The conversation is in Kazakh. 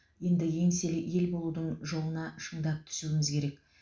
енді еңселі ел болудың жолына шындап түсуіміз керек